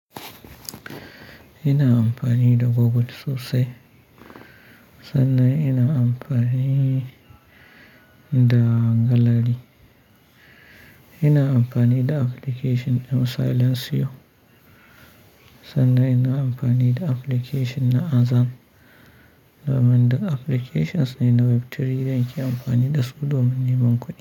Ina amfani da Google sosai sannan ina amfani da gallary. Ina amfani da application din Silentio sannan ina amfani da application na Azan. Domin duk applications ne na web3 da ake amfani da su domin neman kuɗi.